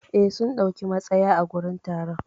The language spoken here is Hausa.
Eh, sun dauki matsaya a gurin taron.